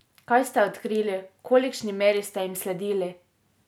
Kaj ste odkrili, v kolikšni meri ste jim sledili?